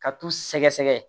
Ka t'u sɛgɛsɛgɛ